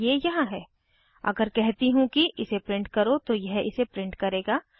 ये यहाँ है अगर कहती हूँ कि इसे प्रिंट करो तो यह इसे प्रिंट करेगा